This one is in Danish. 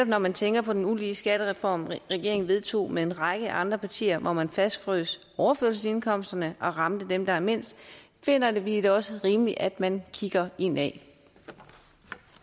når man tænker på den ulige skattereform regeringen vedtog med en række andre partier hvor man fastfrøs overførselsindkomsterne og ramte dem der har mindst finder vi det også rimeligt at man kigger indad